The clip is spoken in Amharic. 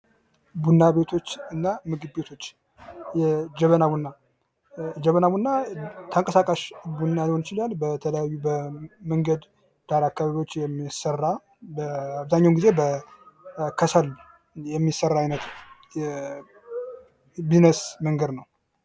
ቡና ቤቶችና ምግብ ቤቶች የጀበና ቡና ተንቀሳቃሽ ቡና ሊሆን ይችላል በተለያዩ መንገድ ዳር አካባቢዎች የሚሰራ በአብዛኛውን ጊዜ በከሠል የሚሰራ አይነት የቢዝነስ መንገድ ነው።